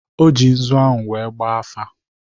O ji nzu ahụ wee gbaa afa.